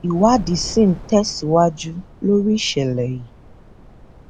ìwádìí sì ń tẹsíwájú lórí ìṣẹlẹ yìí